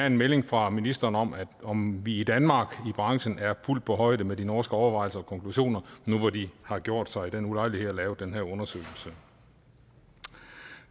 en melding fra ministeren om om vi i danmark i branchen er fuldt på højde med de norske overvejelser og konklusioner nu hvor de har gjort sig den ulejlighed at lave den her undersøgelse